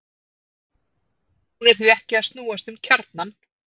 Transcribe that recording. Hún er því ekki að snúast um kjarnann!